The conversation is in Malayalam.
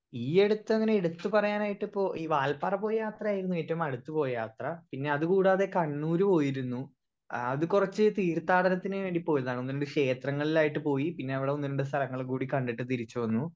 സ്പീക്കർ 1 ഈ അടുത്തങ്ങനെ എടുത്ത് പറയാനായിട്ട് ഇപ്പൊ ഈ വാൾപ്പാറ പോയി യാത്രയായിരുന്നു ഏറ്റോം അടുത്ത് പോയ യാത്ര പിന്നെ അത് കൂടാതെ കണ്ണൂർ പോയിരുന്നു ഏഹ് അത് കൊറച്ച് തീർത്ഥാടനത്തിന് വേണ്ടി പോയതാണ് ഒന്ന് രണ്ട് ക്ഷേത്രങ്ങളിലായിട്ട് പോയി പിന്നെ അവിടെ ഒന്ന് രണ്ട് സ്ഥലങ്ങൾ കൂടി കണ്ടിട്ട് തിരിച്ച് വന്നു